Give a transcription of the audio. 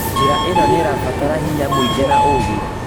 Njĩra ĩno nĩrabatara hinya mũingĩ na ũgĩ